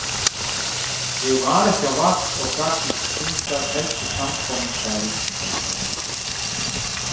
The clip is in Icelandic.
Ég var ekki á vakt og gat því stundað helstu samkomustaði borgarinnar.